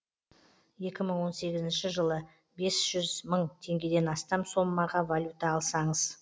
екі мың он сегізінші жылы бес жүз мың теңгеден астам соммаға валюта алсаңыз